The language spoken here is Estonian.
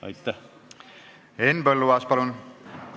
Henn Põlluaas, palun!